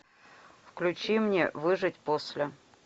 включи мне выжить после